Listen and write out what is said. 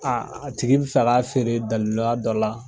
A a tigi bɛ fɛ k'a feere daliluya dɔ la.